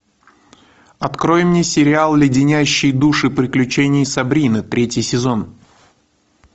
открой мне сериал леденящие душу приключения сабрины третий сезон